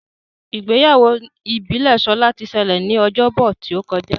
Ìgbéyàwó ìbílè Shola tí ṣẹlẹ ní Ọjọ́ Bọ̀ tíó kọjá.